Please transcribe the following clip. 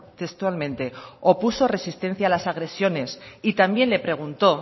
textualmente opuso resistencia a las agresiones y también le preguntó